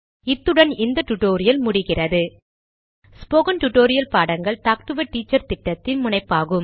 இத்துடன் இந்த டுடோரியல் முடிகிறது ஸ்போகன் டுடோரியல் பாடங்கள் டாக்டு எ டீச்சர் திட்டத்தின் முனைப்பாகும்